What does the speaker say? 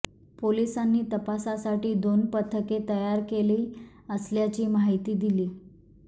पोलिसांनी तपासासाठी दोन पथके तयार केली असल्याची माहिती दिली